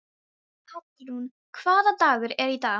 Hallrún, hvaða dagur er í dag?